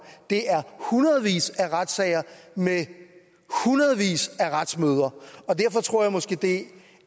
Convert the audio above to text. er hundredvis af retssager med hundredvis af retsmøder derfor tror jeg måske det